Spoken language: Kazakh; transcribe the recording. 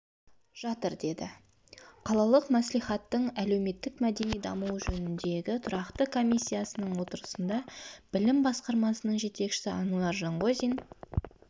жатыр деді қалалық мәслихаттың әлеуметтік-мәдени дамуы жөніндегі тұрақты комиисяның отырысында білім басқармасының жетекшісі ануар жанғозин